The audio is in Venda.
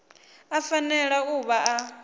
a fanela u vha a